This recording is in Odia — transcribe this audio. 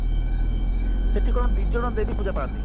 ସେଠି କଣ ଦି ଜଣ ଦେବ ପୂଜା ପାନ୍ତି